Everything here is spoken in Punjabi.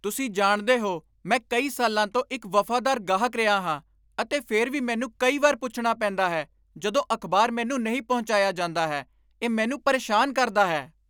ਤੁਸੀਂ ਜਾਣਦੇ ਹੋ, ਮੈਂ ਕਈ ਸਾਲਾਂ ਤੋਂ ਇੱਕ ਵਫ਼ਾਦਾਰ ਗਾਹਕ ਰਿਹਾ ਹਾਂ, ਅਤੇ ਫਿਰ ਵੀ ਮੈਨੂੰ ਕਈ ਵਾਰ ਪੁੱਛਣਾ ਪੈਂਦਾ ਹੈ ਜਦੋਂ ਅਖ਼ਬਾਰ ਮੈਨੂੰ ਨਹੀਂ ਪਹੁੰਚਾਇਆ ਜਾਂਦਾ ਹੈ। ਇਹ ਮੈਨੂੰ ਪਰੇਸ਼ਾਨ ਕਰਦਾ ਹੈ।